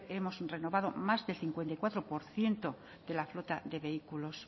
hemos renovado más del cincuenta y cuatro por ciento de la flota de vehículos